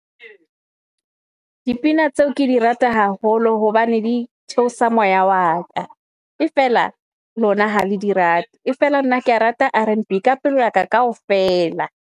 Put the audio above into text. Dipina tseo ke di rata haholo hobane di theosa moya wa ka. E feela lona ha le di rate e feela, nna kea rata Rnb ka pelo ya ka kaofela.